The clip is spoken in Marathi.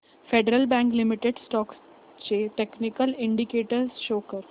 फेडरल बँक लिमिटेड स्टॉक्स चे टेक्निकल इंडिकेटर्स शो कर